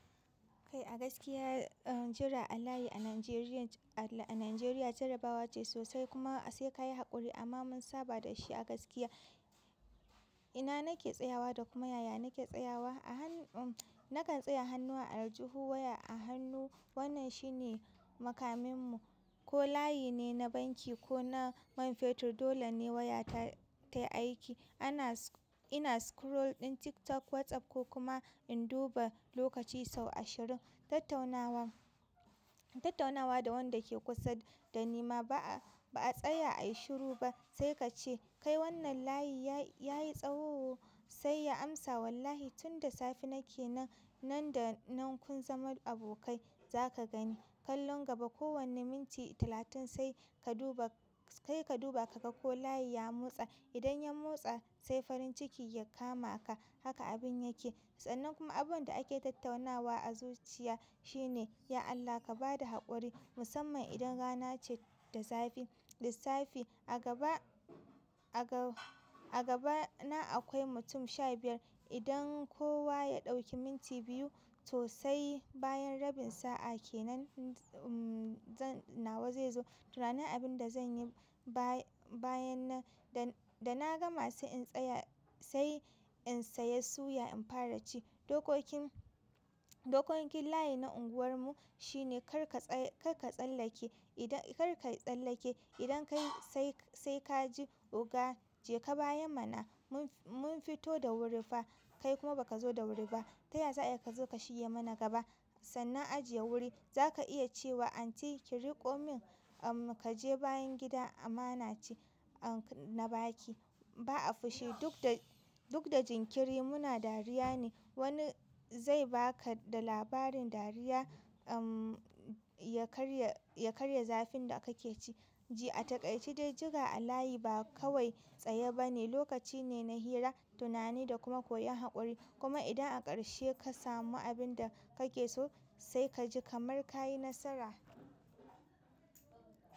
Kai a gaskiya jira alayi a Nigeria a Najeriya jarabawa ce sosai kuma sai ka yi haƙuri amma mun saba da shi a gaskiya. Ina nake tsayawa da kuma yaya nake tsayawa? Nakan tsaya a hannuwar aljihu waya a hannu wannan shi ne makaminmu ko layi ne na banki ko na man fetur dole ne waya ta yi aiki. Ina scroll ɗin TikTok, WhatsApp ko kuma in duba lokaci sau ashirin. Tattaunawa da wanda ke kusa dani maba'a ba a tsaya a yi shiru ba sai ka ce kai wannan layi ya yi tsawo sai ya amsa wallahi tun da safe nake nan. Nan da nan kun zama abokai za ka gani kallon gaba kowane minti talatin sai ka duba ka ga ko layi ya motsa. Idan ya motsa sai farin ciki ya kama ka haka abin yake. Sannan kuma abubuwan da ake tattaunawa a zuciya shi ne "ya Allah ka ba da haƙuri" musamman idan rana ce da safe. Lissafi a gabana alwai mutum sha biyar idan kowa ya ɗauki minti biyu to sai bayan rabin sa'a kenan zan nawa zai zo. Tunani abin da zan yi bayan nan da na gama sai in tsaya sai in saya suya in fara ci. Dokokin layi na unguwarmu shi ne kar ka tsallake kar ka tsallake idan kai sai ka ji oga je ka bayan mana mun fito da wuri fa kai kuma ba ka zo da wuri ba. Taya za a iya ka zo ka shige mana gaba? Sannan ajiye wuri za ka iya ce wa anti ki riƙo min um ka je bayan gida amana ce na baki ba a fushi duk da jinkiri muna dariya ne. Wani zai ba ka da labarin dariya ya karya zafin da kake ci. Ji a takaici dai jira alayi ba kawai tsaye ba ne lokaci ne na hira, tunani da kuma koyon haƙuri. Kuma idan a ƙarshe ka samu abin da kake so sai ka ji kamar ka yi nasara.